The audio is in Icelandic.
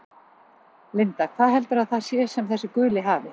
Linda: Hvað heldurðu að það sé sem þessi guli hafi?